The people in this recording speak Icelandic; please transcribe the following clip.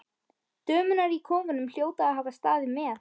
Dömurnar í kofanum hljóta að hafa staðið með